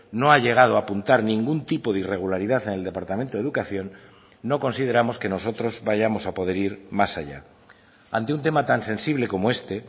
no ha llegado a apuntar ningún tipo de irregularidad en el departamento de educación no consideramos que nosotros vayamos a poder ir más allá ante un tema tan sensible como este